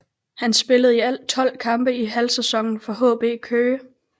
Han spillede i alt tolv kampe i halvsæsonen for HB Køge